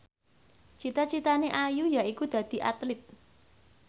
cita citane Ayu yaiku dadi Atlit